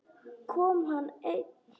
Kom hann einn?